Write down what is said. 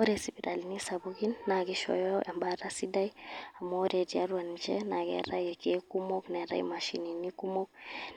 Ore isipitalini sapukin, naa kishooyo ebaata sidai. Amu ore tiatua ninche, na keetae irkeek kumok. Neetae imashinini kumok.